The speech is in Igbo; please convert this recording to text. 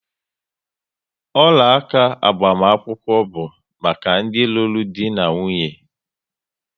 Ọla áká agbamakwụkwọ bu maka ndi lụrụ di na nwunye